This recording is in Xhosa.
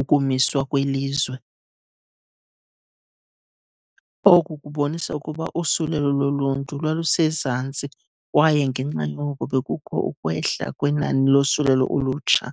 ukumiswa kwelizwe. Oku kubonisa ukuba usulelo loluntu lwalusezantsi kwaye ngenxa yoko bekukho ukwehla kwenani losulelo olutsha.